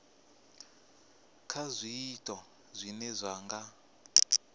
kha zwiito zwine zwa nga